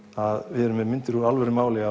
við erum með myndir úr alvöru máli